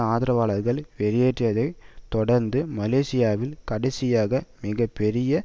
ஆதரவாளர்கள் வெளியேறியதைத் தொடர்ந்து மலேசியாவில் கடைசியாக மிக பெரிய